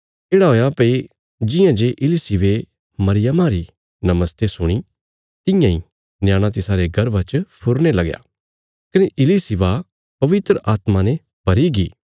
येढ़ा हुया भई जियां जे इलिशिबे मरियमा री नमस्ते सुणी तियां इ न्याणा तिसारे गर्भा च फुरने लगया कने इलिशिबा पवित्र आत्मा ने भरीगी